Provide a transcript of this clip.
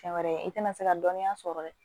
Fɛn wɛrɛ i tɛna se ka dɔnniya sɔrɔ dɛ